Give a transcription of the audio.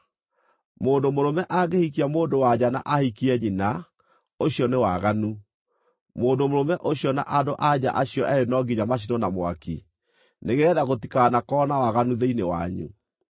“ ‘Mũndũ mũrũme angĩhikia mũndũ-wa-nja na ahikie nyina, ũcio nĩ waganu. Mũndũ mũrũme ũcio na andũ-a-nja acio eerĩ no nginya macinwo na mwaki, nĩgeetha gũtikanakorwo na waganu thĩinĩ wanyu.